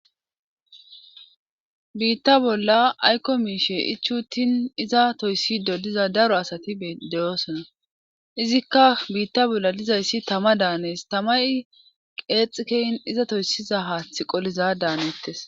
Biitta bolla ayko miishe ichuttin iza toyssi dodiza daro asati deyoosona izikka biitta bolla lizayssi tama daanes tamay qeexikeyn iza toyssiza haaththi qoliza daanettes.